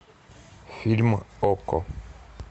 фильм окко